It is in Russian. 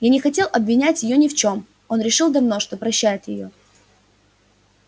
я не хотел обвинять её ни в чём он решил давно что прощает её